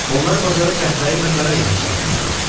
Onlar bazara qəhvəyi və qara inək çıxartmışdılar.